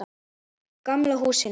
Gamla húsinu.